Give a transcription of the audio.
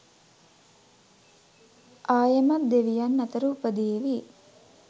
ආයෙමත් දෙවියන් අතර උපදීවි.